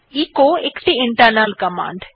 echo একটি internal command